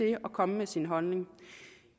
at komme med sin holdning